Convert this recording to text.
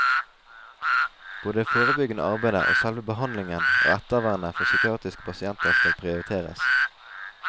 Både det forebyggende arbeidet, selve behandlingen og ettervernet for psykiatriske pasienter skal prioriteres.